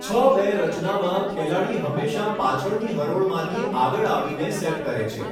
છ બે રચનામાં, ખેલાડી હંમેશાં પાછળની હરોળમાંથી આગળ આવીને સેટ કરે છે.